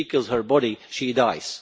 If she kills her body, she dies.